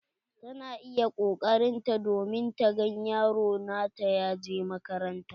Tana iƴa koƙarin ta domin ta gan yaro nata ya je makaranta.